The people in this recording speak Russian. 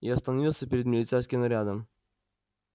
и остановился перед милицейским нарядом